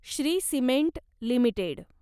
Shri cement limited